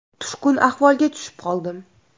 Tushkun ahvolga tushib qoldim.